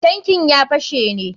Tankin ya fashe ne.